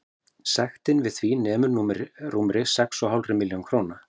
Sektin við því nemur rúmri sex og hálfri milljón króna.